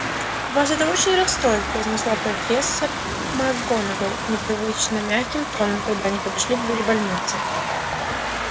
вас это очень расстроит произнесла профессор макгонагалл непривычно мягким тоном когда они подошли к двери больницы было ещё одно нападение